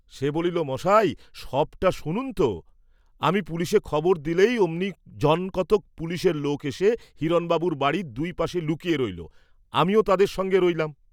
সে বলিল, মশাই, সবটা শুনুন তো; আমি পুলিসে খবর দিলেই অমনি জন কতক পুলিসের লোক এসে হিরণবাবুর বাড়ীর দুই পাশে লুকিয়ে রইল, আমিও তাদের সঙ্গে রইলাম।